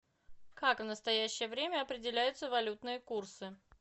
как в настоящее время определяются валютные курсы